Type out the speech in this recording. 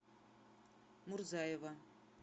мурзаева